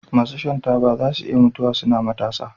masu shan taba zasu iya mutuwa suna matasa